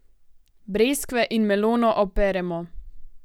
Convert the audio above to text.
Breskve in melono operemo.